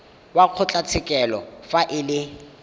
wa kgotlatshekelo fa e le